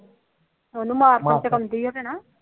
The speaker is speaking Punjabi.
ਉਹਨੂੰ